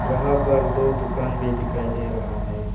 यहां पर दो दुकान भी दिखाई दे रहा है।